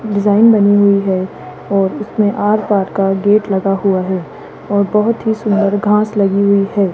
Design बनी हुई है और इसमें आर-पार का गेट लगा हुआ है और बहोत ही सुंदर घास लगी हुई है।